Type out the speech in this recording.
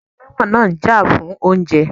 Àwọn ẹlẹ́wọ̀n náà ń jà fún oúnjẹ